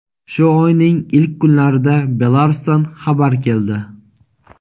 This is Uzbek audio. Shu oyning ilk kunlarida Belarusdan xabar keldi.